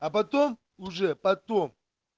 а потом уже потом